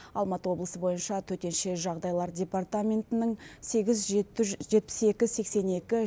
алматы облысы бойынша төтенше жағдайлар департаментінің сегіз жеті жетпіс екі сексен екі